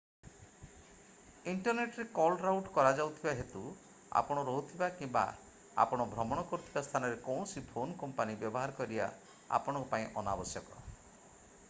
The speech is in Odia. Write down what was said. ଇଣ୍ଟରନେଟରେ କଲ୍ ରାଉଟ୍ କରାଯାଉଥିବା ହେତୁ ଆପଣ ରହୁଥିବା କିମ୍ବା ଆପଣ ଭ୍ରମଣ କରୁଥିବା ସ୍ଥାନର କୌଣସି ଫୋନ୍ କମ୍ପାନୀ ବ୍ୟବହାର କରିବା ଆପଣଙ୍କ ପାଇଁ ଅନାବଶ୍ୟକ